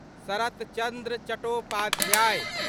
सरत चन्द्र चट्टोपाध्याय